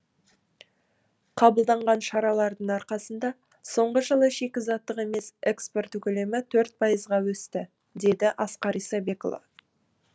қабылданған шаралардың арқасында соңғы жылы шикізаттық емес экспорт көлемі төрт пайызға өсті деді асқар исабекұлы